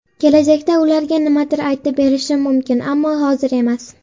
Kelajakda ularga nimadir aytib berishim mumkin, ammo hozir emas.